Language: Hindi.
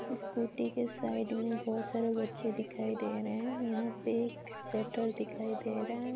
स्कूटी के साइड में बहुत सारे बच्चे दिखाई दे रहे हैं यहाँ पे एक सटर दिखाई दे रहा है।